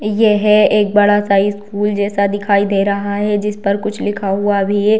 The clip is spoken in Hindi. ये है एक बड़ा-सा स्कूल जैसा दिखाई दे रहा है जिस पर कुछ लिखा हुआ भी है।